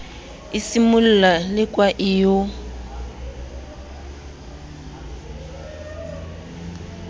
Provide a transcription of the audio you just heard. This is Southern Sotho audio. e simolla lekwa e yo